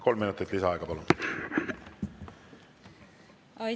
Kolm minutit lisaaega, palun!